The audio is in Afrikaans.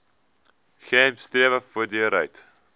gems strewe voortdurend